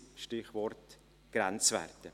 Stichwort Grenzwerte.